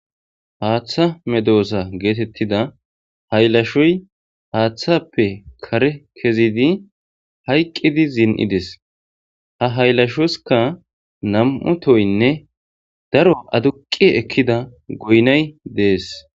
Haaththa medo7osa geetettida haylashoy haaththappe kare kezidi hayqqidi zin7ides ha hayllashoskka nam7u toynne daro aduqi ekkida goynay dees.